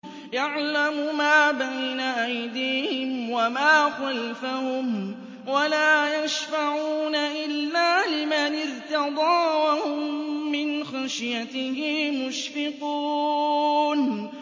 يَعْلَمُ مَا بَيْنَ أَيْدِيهِمْ وَمَا خَلْفَهُمْ وَلَا يَشْفَعُونَ إِلَّا لِمَنِ ارْتَضَىٰ وَهُم مِّنْ خَشْيَتِهِ مُشْفِقُونَ